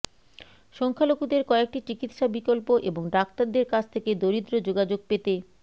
সংখ্যালঘুদের কয়েকটি চিকিত্সা বিকল্প এবং ডাক্তারদের কাছ থেকে দরিদ্র যোগাযোগ পেতে